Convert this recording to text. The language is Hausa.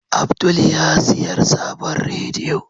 Abdul yasiyar sabon rediyo.